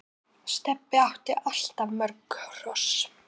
Stebbi átti alltaf mörg hross.